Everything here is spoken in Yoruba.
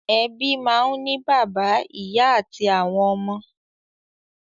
Ẹbí máa ń ní bàbá, ìyá àti àwọn ọmọ.